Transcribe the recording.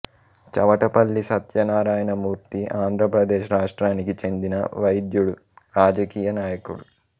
చవటపల్లి సత్యనారాయణ మూర్తి ఆంధ్రప్రదేశ్ రాష్ట్రానికి చెందిన వైద్యుడు రాజకీయ నాయకుడు